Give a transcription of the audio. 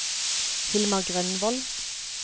Hilmar Grønvold